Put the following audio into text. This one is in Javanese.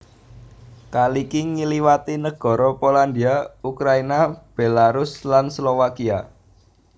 Kaliki ngliwati negara Polandia Ukraina Belarus lan Slowakia